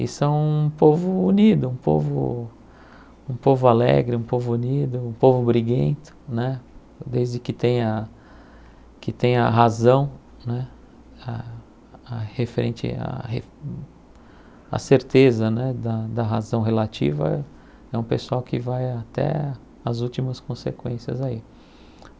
E são um povo unido, um povo um povo alegre, um povo unido, um povo briguento né, desde que tenha que tenha razão né, a a referente a a certeza né da da razão relativa, é um pessoal que vai até as últimas consequências aí.